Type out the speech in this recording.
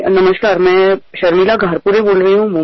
मी मुंबईहून शर्मिला घारपुरे बोलत आहे